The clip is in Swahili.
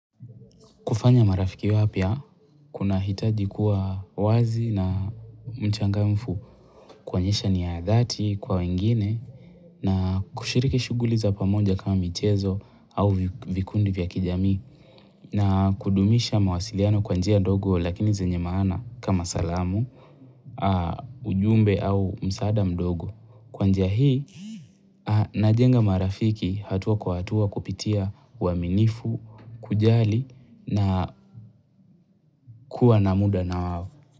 Kufanya marafiki wapya, kuna hitaji kuwa wazi na mchangamfu kuonyesha nia ya dhati kwa wengine na kushiriki shughuli za pamoja kama mchezo au vikundi vya kijamii na kudumisha mawasiliano kwa njia ndogo lakini zenye maana kama salamu, ujumbe au msaada mdogo. Kwanjia hii, najenga marafiki hatua kwa hatua kupitia uaminifu, kujali na kuwa na muda na wao.